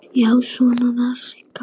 Já, svona var Sigga!